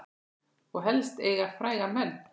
Og helst eiga frægan mann.